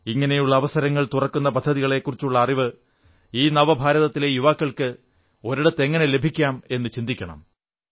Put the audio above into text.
ഇങ്ങനെയുള്ള അവസരങ്ങൾ തുറക്കുന്ന പദ്ധതിക്കളെക്കുറിച്ചുള്ള അറിവ് ഈ നവഭാരതത്തിലെ യുവാക്കൾക്ക് ഒരിടത്ത് എങ്ങനെ ലഭിക്കാം എന്നു ചിന്തിക്കണം